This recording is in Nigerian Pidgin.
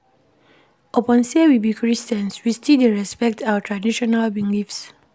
Upon sey we be Christians, we still dey respect our traditional beliefs.